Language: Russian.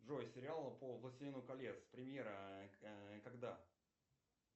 джой сериал по властелину колец премьера когда